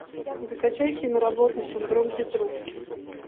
закачай киноработу синдром петрушки